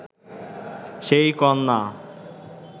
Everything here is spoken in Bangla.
সেই কন্যা